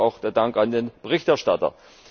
Dafür auch der Dank an den Berichterstatter!